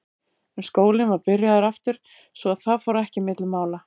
En skólinn var byrjaður aftur svo að það fór ekki á milli mála.